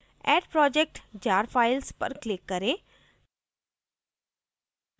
add project jar files पर click करें